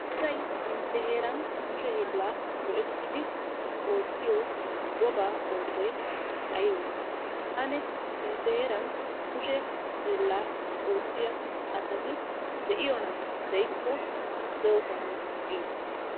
Asay intte heeran kushe hiillaa go'ettidi oottiyo wogaa oosoy aybee? Ane intte heeran kushe hiillaa oottiya asati de'iyonaa? De'kko doosona giite.